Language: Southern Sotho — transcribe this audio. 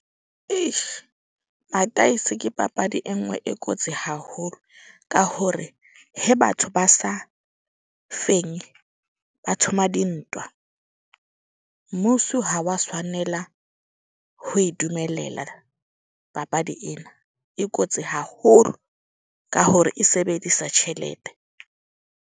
madaese ke papadi e nngwe e kotsi haholo. Ka hore he batho ba sa fenye ba thoma dintwa. Mmuso ha wa tshwanela ho e dumelela papadi ena e kotsi haholo. Ka hore e sebedisa tjhelete.